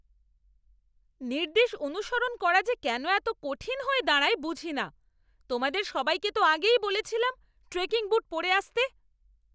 নির্দেশ অনুসরণ করা যে কেন এত কঠিন হয়ে দাঁড়ায় বুঝি না! তোমাদের সবাইকে তো আগেই বলেছিলাম ট্রেকিং বুট পরে আসতে।